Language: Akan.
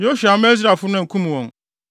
Yosua amma Israelfo no ankum wɔn.